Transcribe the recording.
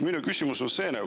Minu küsimus on selline.